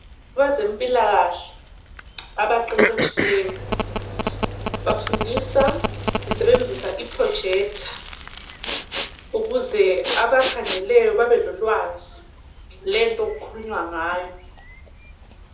Kwezempilakahle abaqeqetshileyo bafundisa besebenzisa I projector ukuze abakhangeleyo babe lolwazi lwento okukhulunywa ngayo .